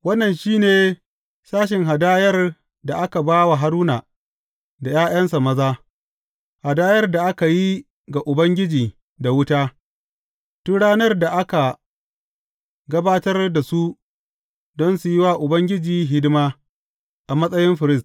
Wannan shi ne sashen hadayar da aka ba wa Haruna da ’ya’yansa maza, hadayar da aka yi ga Ubangiji da wuta, tun ranar da aka gabatar da su don su yi wa Ubangiji hidima a matsayin firist.